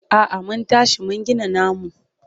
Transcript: A'a mun tashi mun gina namu.